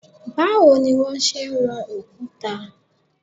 Báwo ni wón ṣe ń wọn òkúta?